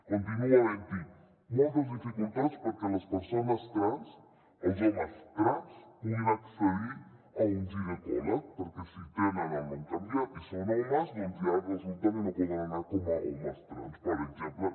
continua havent hi moltes dificultats perquè les persones trans els homes trans puguin accedir a un ginecòleg perquè si tenen el nom canviat i són homes doncs ja resulta que no poden anar com a homes trans per exemple